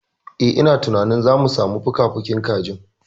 Eh, ina tunanin zamu samu fukafukin kajin.